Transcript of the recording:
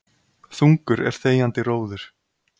Þungur er þegjandi róður.